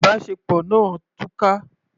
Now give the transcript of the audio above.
Ìbáṣepọ̀ náà túká.